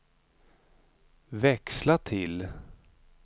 växla till